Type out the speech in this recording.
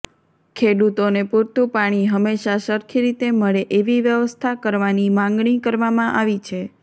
ખેડૂતોને પુરતુ પાણી હંમેશા સરખી રીતે મળે એવી વ્યવસ્થા કરવાની માંગણી કરવામાં આવી છે